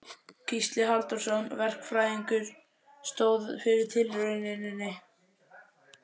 Gísli Halldórsson verkfræðingur stóð fyrir tilrauninni.